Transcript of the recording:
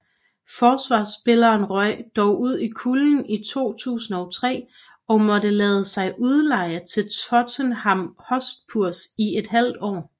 Forsvarsspilleren røg dog ud i kulden i 2003 og måtte lade sig udleje til Tottenham Hotspurs i et halvt år